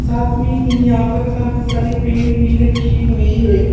साथ में ही यहां पर काफी सारे पेन भी रखे हुए हैं।